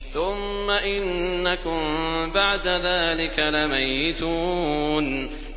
ثُمَّ إِنَّكُم بَعْدَ ذَٰلِكَ لَمَيِّتُونَ